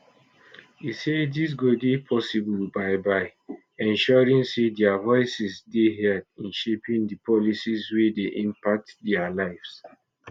e say dis go dey possible by by ensuring say dia voices dey heard in shaping di policies wey dey impact dia lives